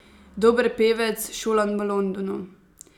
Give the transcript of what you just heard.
Dober pevec, šolan v Londonu ...